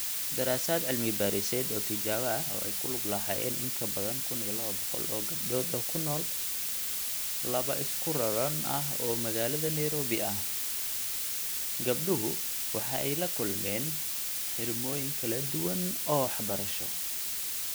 Daraasad cilmi-baadhiseed oo tijaabo ah oo ay ku lug lahaayeen in ka badan 1,200 oo gabdhood oo ku nool laba isku raran ah oo magaalada Nairobi ah, gabdhuhu waxa ay la kulmeen xidhmooyin kala duwan oo waxbarasho.